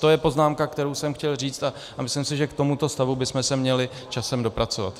To je poznámka, kterou jsem chtěl říct, a myslím si, že k tomuto stavu bychom se měli časem dopracovat.